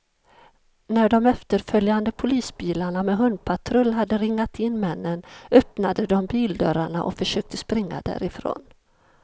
När de efterföljande polisbilarna med hundpatrull hade ringat in männen, öppnade de bildörrarna och försökte springa därifrån.